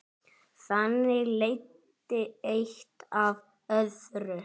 Þannig leiddi eitt af öðru.